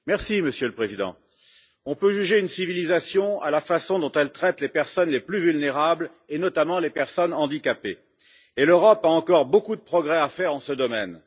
Monsieur le Président, on peut juger une civilisation à la façon dont elle traite les personnes les plus vulnérables, notamment les personnes handicapées, et l'Europe a encore beaucoup de progrès à faire dans ce domaine.